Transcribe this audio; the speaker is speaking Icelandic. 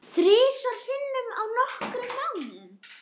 Þrisvar sinnum á nokkrum mánuðum?